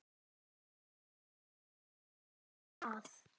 Olla átti góða að.